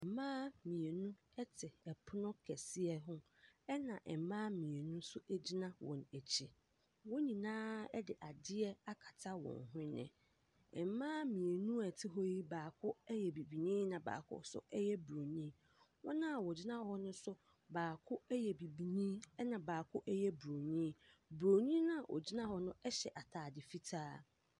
Mmaa mienu te ɛpono kɛseɛ ho ɛna mmaa mmienu nso gyina wɔn akyi. wɔn nyinaa de adeɛ akata wɔn hwene. Mmaa mmienu a wɔte hɔ yi baako yɛ Bibini na baako yɛ Buroni. Wɔn a wɔgyina hɔ yi nso baako yɛ Bibini ɛna baako yɛ Buroni. Buroni no a ɔgyina hɔ no hyɛ ataade fitaa.